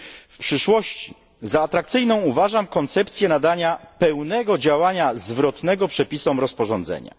W przyszłości za atrakcyjną uważam koncepcję nadania pełnego działania zwrotnego przepisom rozporządzenia.